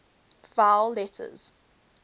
vowel letters